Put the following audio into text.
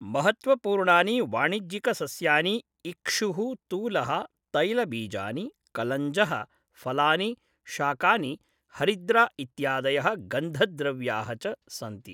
महत्त्वपूर्णानि वाणिज्यिकसस्यानि इक्षुः, तूलः, तैलबीजानि, कलञ्जः, फलानि, शाकानि, हरिद्रा इत्यादयः गन्धद्रव्याः च सन्ति।